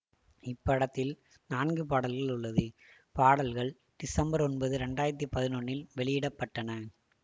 இப்படத்தில் நான்கு பாடல்கள் உள்ளது பாடல்கள் திசம்பர் ஒன்பது இரண்டு ஆயிரத்தி பதினொன்னில் வெளியிட பட்டன